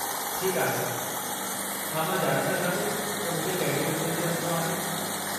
ठीकु आहे , छा मां ॼाणे सघां थो त मूंखे कहिड़ी मंज़िल ते वञणो आहे ?